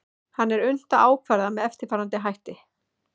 hann er unnt að ákvarða með eftirfarandi hætti